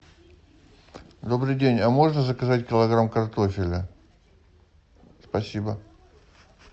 добрый день а можно заказать килограмм картофеля спасибо